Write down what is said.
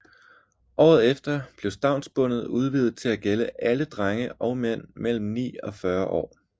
Året efter blev stavnsbåndet udvidet til at gælde alle drenge og mænd mellem ni og 40 år